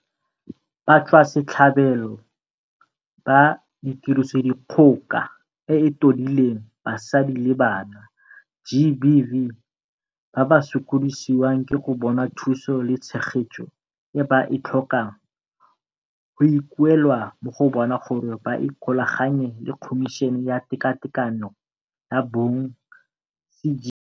Batswasetlhabelo ba Tirisodikgoka e e Totileng Basadi le Bana, GBV, ba ba sokodisiwang ke go bona thuso le tshegetso e ba e tlhokang go ikuelwa mo go bona gore ba ikgolaganye le Khomišene ya Tekatekano ya Bong, CGE.